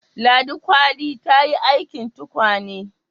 Ladi kwali ta yi aikin tukwane